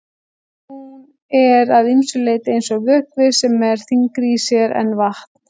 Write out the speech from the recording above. Hún er að ýmsu leyti eins og vökvi sem er þyngri í sér en vatn.